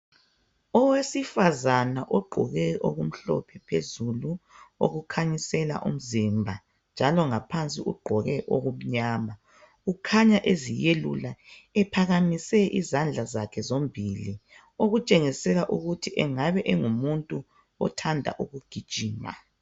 Owesifazana ogqoke okumhlophe phezulu okukhanyisela umzimba njalo ngaphansi ugqoke okumnyama. Ukhanya eziyelula ephakamise izandla zakhe zombili okutshengisela ukuthi engabe engumuntu othanda ukugijima.